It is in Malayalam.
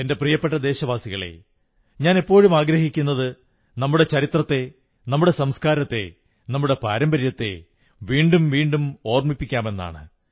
എന്റെ പ്രിയപ്പെട്ട ദേശവാസികളേ ഞാൻ എപ്പോഴും ആഗ്രഹിക്കുന്നത് നമ്മുടെ ചരിത്രത്തെ നമ്മുടെ സംസ്കാരത്തെ നമ്മുടെ പാരമ്പര്യത്തെ വീണ്ടും വീണ്ടും ഓർമ്മിക്കാമെന്നാണ്